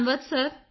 ਧੰਨਵਾਦ ਸਰ